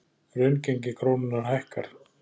Raungengi krónunnar hækkar